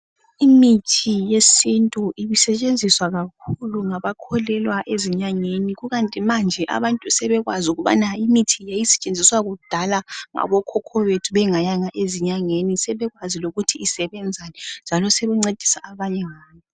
Imithi yesintu ibe isetshenziswa kakhulu ngabantu abakholelwa ezinyangeni, kukanti manje abantu sebekwazi ukubana imithi yayisetshenziswa kudala ngabokhokho bethu bengayanga ezinyangeni. Sebekwazi njalo lokuthi isebenza njani lokusiza abanye.